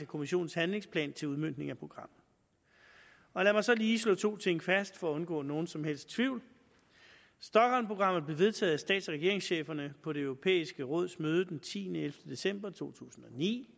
kommissionens handlingsplan til udmøntning af programmet lad mig så lige slå to ting fast for at undgå nogen som helst tvivl stockholmprogrammet blev vedtaget af stats og regeringscheferne på det europæiske råds møde den tiende elleve december to tusind og ni